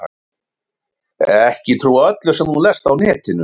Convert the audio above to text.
Ekki trúa öllu sem þú lest á netinu.